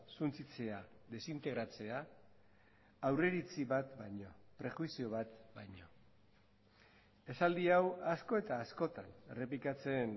suntsitzea desintegratzea aurreiritzi bat baino prejuizio bat baino esaldi hau asko eta askotan errepikatzen